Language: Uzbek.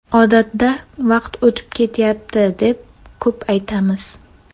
Odatda vaqt o‘tib ketyapti, deb ko‘p aytamiz.